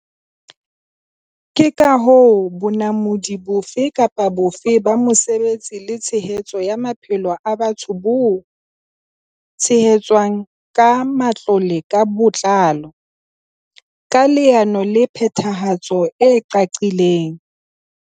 Ke ka hoo bonamodi bofe kapa bofe ba mosebetsi le tshehetso ya maphelo a batho bo tshehetswang ka matlole ka botlalo, ka leano la phethahatso le qaqileng.